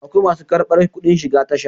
akwai masu kabar kudin shiga Tasha